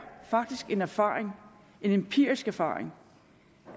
en erfaring en empirisk erfaring